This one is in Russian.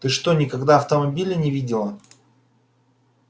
ты что никогда автомобилей не видела